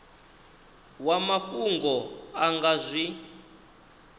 wa mafhungo a nga zwi